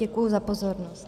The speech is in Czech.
Děkuji za pozornost.